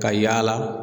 Ka yaala